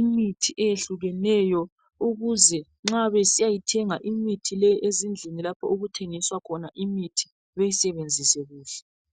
imithi eyehlukeneyo ukuze nxa besiyayithenga imithi ezindlini okuthengiswa imithi bayisebenzise kuhle.